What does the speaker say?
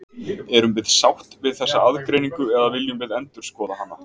Erum við sátt við þessa aðgreiningu eða viljum við endurskoða hana?